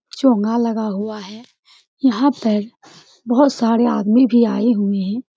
चोंघा लगा हुआ है यहां पर बहुत सारे आदमी भी आए हुए हैं।